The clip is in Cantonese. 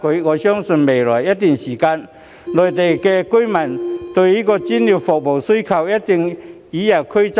我相信未來一段時間，內地居民對於專業服務的需求將會與日俱增。